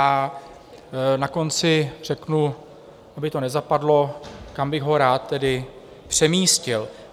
A na konci řeknu, aby to nezapadlo, kam bych ho rád tedy přemístil.